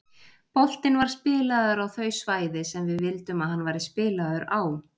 Boltinn var spilaður á þau svæði sem við vildum að hann væri spilaður á.